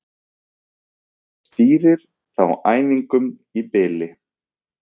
Hver stýrir þá æfingum í bili?